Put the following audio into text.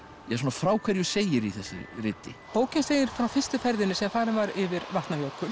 frá hverju segir í þessu riti bókin segir frá fyrstu ferðinni sem farin var yfir Vatnajökul